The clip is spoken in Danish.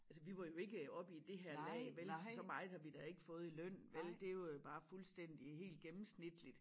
Altså vi var jo ikke oppe i det her lag vel for så meget har vi da ikke fået i løn vel det jo bare fuldstændig helt gennemsnitligt